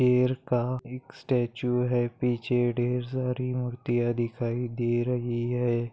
शेर का एक स्टॅचू हैं पीछे ढेर सारी मूर्तिया दिखाई दे रही हैं।